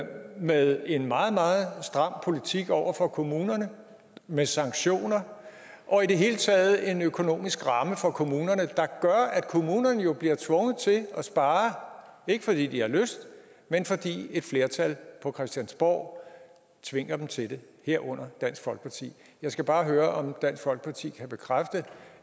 med en meget meget stram politik over for kommunerne med sanktioner og i det hele taget en økonomisk ramme for kommunerne der gør at kommunerne jo bliver tvunget til at spare ikke fordi de har lyst men fordi et flertal på christiansborg tvinger dem til det herunder dansk folkeparti jeg skal bare høre om dansk folkeparti kan bekræfte